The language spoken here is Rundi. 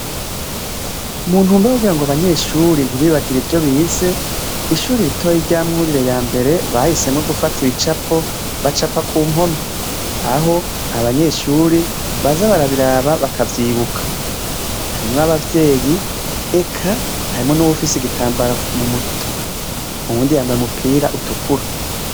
Mu ntumbero yo kugira ngo abanyeshure ntibibagire ivyo bize, ishure ritoya rya Mwurire ya mbere bahisemwo gufata ibicapo bacapa ku mpome, aho abanyeshure baza barabiraba bakavyibuka. Harimwo abavyeyi, eka harimwo n'uwufise igitambara mu mutwe, uwundi yambaye umupira utukura.